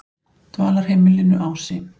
Dvalarheimilinu Ási